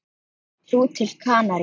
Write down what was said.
Þú til Kanarí?